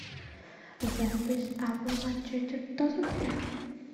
запись апл манчестер тоттенхэм